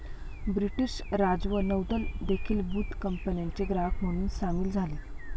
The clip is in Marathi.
ब्रिटिश राज व नौदल देखीलबुत कंपन्याचे ग्राहक म्हणून सामील झाले